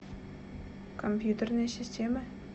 компьютерные системы